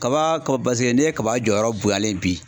Kaba kɔ paseke n'i ye kaba jɔyɔrɔ bonyalen ye bi